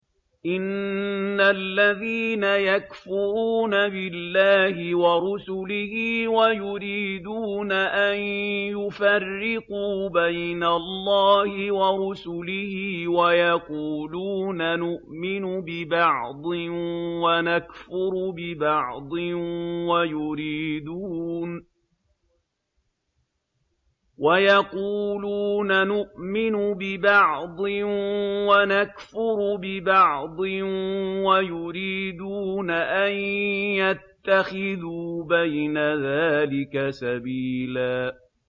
إِنَّ الَّذِينَ يَكْفُرُونَ بِاللَّهِ وَرُسُلِهِ وَيُرِيدُونَ أَن يُفَرِّقُوا بَيْنَ اللَّهِ وَرُسُلِهِ وَيَقُولُونَ نُؤْمِنُ بِبَعْضٍ وَنَكْفُرُ بِبَعْضٍ وَيُرِيدُونَ أَن يَتَّخِذُوا بَيْنَ ذَٰلِكَ سَبِيلًا